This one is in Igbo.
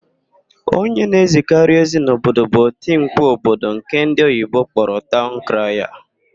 Onye na-ezikarị ozi n'ime obodo bụ otimkpu obodo nke ndị oyibo kpọrọ taụn kraya.